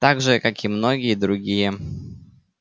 так же как и многие другие